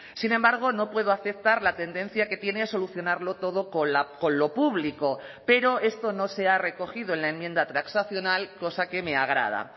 sin embargo no puedo aceptar la tendencia que tiene a solucionarlo todo con lo público pero esto no se ha recogido en la enmienda transaccional cosa que me agrada